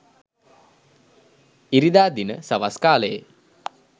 ඉරිදා දින සවස් කාළයේ